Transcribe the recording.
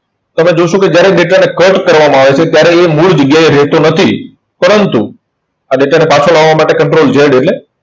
તમે જોશો કે જયારે data ને cut કરવામાં આવે છે, ત્યારે એ મૂળ જગ્યાએ રહેતો નથી. પરંતુ આ data ને પાછો લાવા માટે control Z એટલે